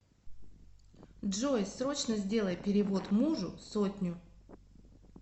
джой срочно сделай перевод мужу сотню